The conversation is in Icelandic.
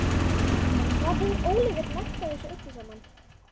En hvað hefur Óliver lært af þessu öllu saman?